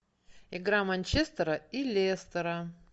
игра манчестера и лестера